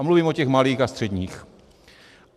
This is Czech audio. A mluvím o těch malých a středních.